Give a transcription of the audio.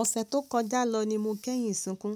Ọ̀sẹ̀ tó kọjá lọ ni mo kéyìn sìnkú,